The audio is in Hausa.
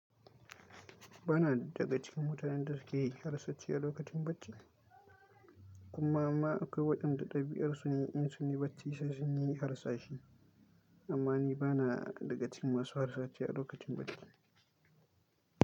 Ba na daga cikin mutanen da suke yi harsashi a lokacin bacci, kuma ma akwai waɗanda ɗabi'arsu ne, insunyi bacci sai sun yi harsashi. Amma ni ba na daga cikin masu harsashi a lokacin bacci.